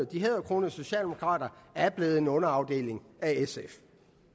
de hæderkronede socialdemokrater er blevet en underafdeling af sf